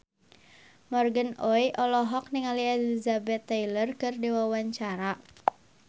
Morgan Oey olohok ningali Elizabeth Taylor keur diwawancara